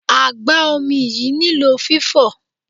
Agba-omi yìí nílò fifo.